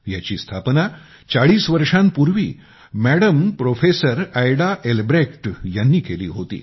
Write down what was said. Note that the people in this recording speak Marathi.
याची स्थापना चाळीस वर्षांपूर्वी मॅडम प्रोफेसर ऎडा एलब्रेक्ट ह्यांनी केली होती